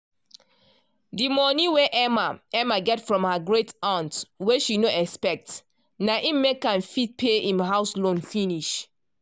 de monie wey emma emma get from her great-aunt wey she no expect na im make am fit pay im house loan finish.